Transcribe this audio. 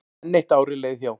Enn eitt árið leið hjá.